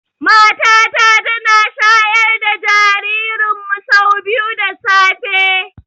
Mata ta tana shayar da jaririn mu sau biyu da safe